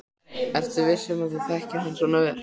Ertu viss um að þú þekkir hann svo vel?